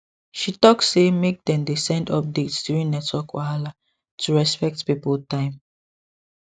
she talk say make dem dey send updates during network wahala to respect people time